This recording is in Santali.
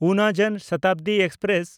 ᱩᱱᱟ ᱡᱚᱱ ᱥᱚᱛᱟᱵᱫᱤ ᱮᱠᱥᱯᱨᱮᱥ